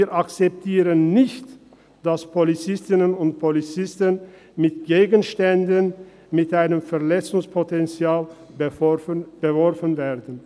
Wir akzeptieren nicht, dass Polizistinnen und Polizisten mit Gegenständen mit einem Verletzungspotenzial beworfen werden.